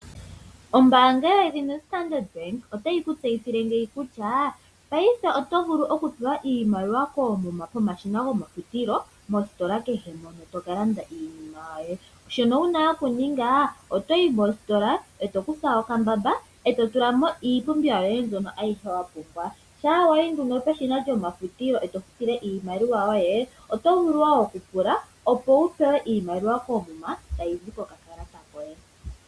Ombanga yedhina Standard otayi ku tseyithile ngeyi kutya paife oto vulu oku pewa iimaliwa koomuma pomashina gomafutilo. Peshina kehe toka landa iinima yoye. Shono wuna oku ninga otoyi mositola eto kutha okambamba eto tula mo iipumbiwa yoye mbyono ayihe wa pumbwa. Shampa wayi nduno peshina lyomafutilo oto vulu wo oku pula wu pewe oshimaliwa koomuma tayi zi koka kalata koye.